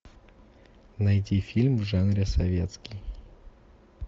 найти фильм в жанре советский